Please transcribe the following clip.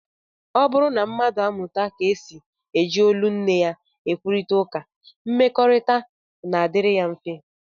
Ọ bụrụ na mmadụ amụta ka e si eji olu nne ya ekwurịta ụka, mmekọrịta na-adịrị ya mfe